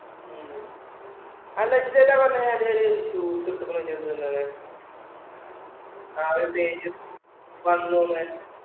ഉം അന്ന് അജിത് എന്താ പറഞ്ഞെ ഒരു shoes എടുത്തിരിക്കണു എന്ന്. ആ ഒരു plain shoes വന്നൂന്ന്.